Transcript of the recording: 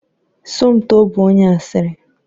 Somto bụ onye asịrị.